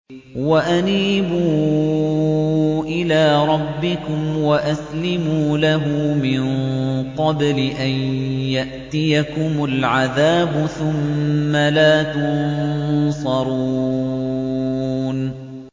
وَأَنِيبُوا إِلَىٰ رَبِّكُمْ وَأَسْلِمُوا لَهُ مِن قَبْلِ أَن يَأْتِيَكُمُ الْعَذَابُ ثُمَّ لَا تُنصَرُونَ